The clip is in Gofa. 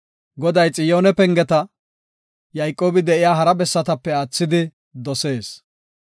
Goday Xiyoone pengeta, Yayqoobi de7iya hara bessatape aathidi dosees.